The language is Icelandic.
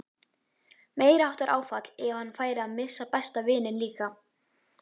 Meiriháttar áfall ef hann færi að missa besta vininn líka.